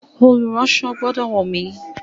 Olùránsọ gbọ́dọ̀ wọ́n mi.